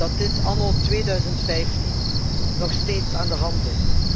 dat dit anno 2015 nog steeds aan de hand is.